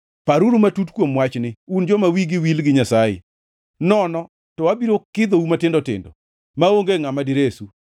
“Paruru matut kuom wachni, un joma wigi wil gi Nyasaye, nono to abiro kidhou matindo tindo, maonge ngʼama diresu: